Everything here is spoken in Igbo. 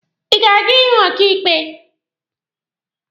Ị ga-aga ịhụ onye ọkaịkpe?